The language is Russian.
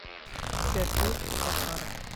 сергей захаров